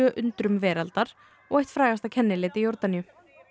undrum veraldar og eitt frægasta kennileiti Jórdaníu